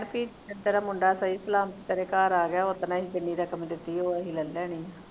ਪੀ ਤੇਰਾ ਮੁੰਡਾ ਸਹੀ ਸਲਾਮਤ ਤੇਰੇ ਘਰ ਆ ਗਿਆ ਉਸ ਦਿਨ ਜਿੰਨੀ ਰਕਮ ਦਿਤੀ ਆ ਉਹ ਅਸੀਂ ਲੈਲਣੀ ਆਂ